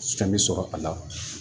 Fɛn bɛ sɔrɔ a la